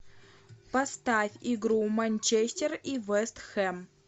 поставь игру манчестер и вест хэм